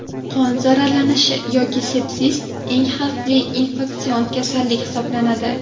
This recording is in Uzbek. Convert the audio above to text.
Qon zararlanishi yoki sepsis eng xavfli infeksion kasallik hisoblanadi.